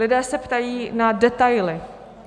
Lidé se ptají na detaily.